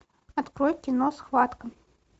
открой кино схватка